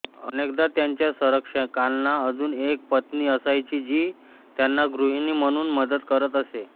अनेकदा त्यांच्या संरक्षकांना अजून एक पत्नी असायची जी त्यांना गृहिणी म्हणून मदत करत असे